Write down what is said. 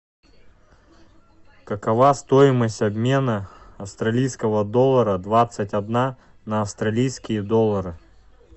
какова стоимость обмена австралийского доллара двадцать одна на австралийские доллары